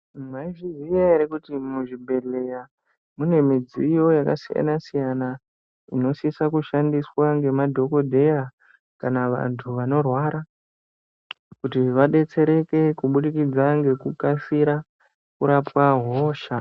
Maizviziya ere kuti muzvibhedhleya mune midziyo yakasiyana-siyana. Inosisa kushandiswa ngemadhogodheya kana vantu vanorwara kuti vabetsereke. Kubudikidza ngekukasira kurapwa hosha.